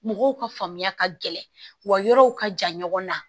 Mɔgɔw ka faamuya ka gɛlɛn wa yɔrɔw ka jan ɲɔgɔn na